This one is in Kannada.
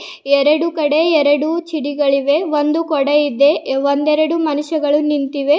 ಎರಡು ಕಡೆ ಎರಡು ಚಿಡಿಗಳಿವೆ ಒಂದು ಕೊಡ ಇದೆ ಒಂದೆರಡು ಮನುಷ್ಯಗಳು ನಿಂತಿವೆ.